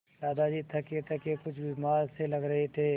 दादाजी थकेथके कुछ बीमार से लग रहे थे